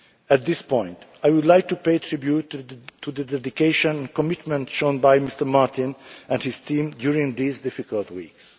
At this point I would like to pay tribute to the dedication and commitment shown by Mr Martin and his team during these difficult weeks.